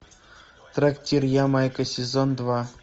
трактир ямайка сезон два